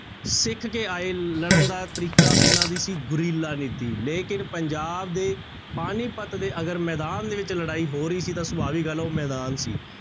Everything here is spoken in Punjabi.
ਸਿੱਖ ਕੇ ਆਏ ਲੜਨ ਦਾ ਤਰੀਕਾ ਇਹਨਾਂ ਦੀ ਸੀ ਗੁਰੀਲਾ ਨੀਤੀ ਲੇਕਿੰਨ ਪੰਜਾਬ ਦੇ ਪਾਣੀਪੱਤ ਦੇ ਅਗਰ ਮੈਦਾਨ ਦੇ ਵਿੱਚ ਲੜਾਈ ਹੋ ਰਹੀ ਸੀ ਤਾਂ ਸਭਾਵੀ ਗੱਲ ਹੈ ਉਹ ਮੈਦਾਨ ਸੀ,